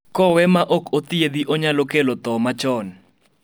kowee ma ok othiedhi, onyalo kelo tho machon